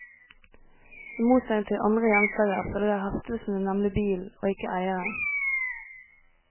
I motsetning til andre gjenstander følger heftelsene nemlig bilen, og ikke eieren.